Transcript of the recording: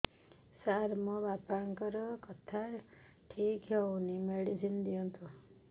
ସାର ମୋର ବାପାଙ୍କର କଥା ଠିକ ହଉନି ମେଡିସିନ ଦିଅନ୍ତୁ